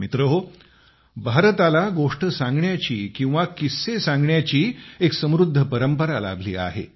मित्रहो भारताला गोष्ट सांगण्याची किंवा किस्से सांगण्याची एक समृद्ध परंपरा लाभली आहे